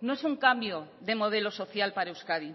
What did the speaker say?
no es un cambio de modelo social para euskadi